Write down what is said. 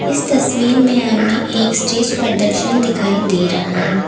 इस तस्वीर में हमें एक स्टेज प्रदर्शन दिखाई दे रहा है।